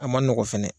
A ma nɔgɔ fɛnɛ